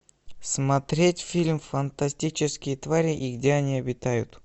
смотреть фильм фантастические твари и где они обитают